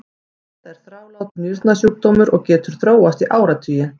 þetta er þrálátur nýrnasjúkdómur og getur þróast í áratugi